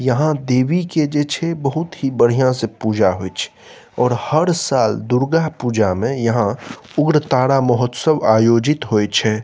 यहाँ देवी के जे छै बहुत ही बढ़िया से पूजा होय छै और हर साल दुर्गा पूजा में यहाँ उग्र तारा महोत्सव आयोजित होए छै।